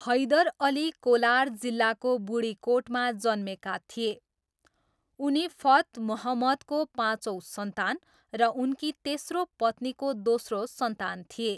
हैदर अली कोलार जिल्लाको बुडिकोटमा जन्मेका थिए, उनी फथ मुहम्मदको पाँचौँ सन्तान र उनकी तेस्रो पत्नीको दोस्रो सन्तान थिए।